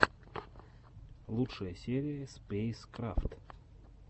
лучшая серия спэйскрафт